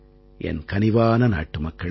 என் கனிவான நாட்டுமக்களே